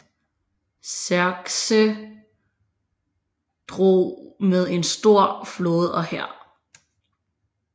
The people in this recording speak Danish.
Xerxes drog med en stor flåde og hær